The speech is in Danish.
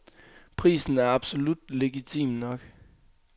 Prisen er absolut legitim nok.